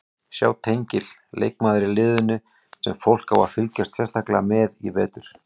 Sjá tengil Leikmaður í liðinu sem fólk á að fylgjast sérstaklega með í vetur?